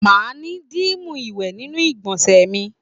Ma ni dimu iwe ninu igbonse mi